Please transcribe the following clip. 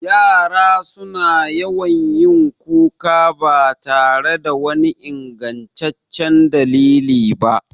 Yara su na yawan yin kuka ba tare da wani ingantaccen dalili ba